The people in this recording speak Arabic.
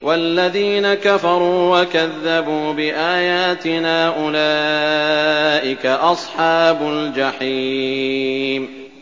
وَالَّذِينَ كَفَرُوا وَكَذَّبُوا بِآيَاتِنَا أُولَٰئِكَ أَصْحَابُ الْجَحِيمِ